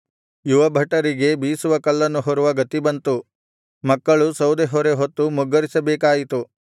ಯುವಭಟರಿಗೆ ಬೀಸುವ ಕಲ್ಲನ್ನು ಹೊರುವ ಗತಿ ಬಂತು ಮಕ್ಕಳು ಸೌದೆಹೊರೆ ಹೊತ್ತು ಮುಗ್ಗರಿಸಬೇಕಾಯಿತು